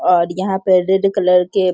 और यहाँ पे रेड कलर के --